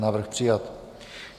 Návrh přijat.